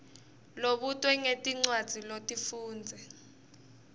lobutwe ngetincwadzi lotifundze